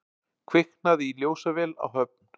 Kviknaði í ljósavél á Höfn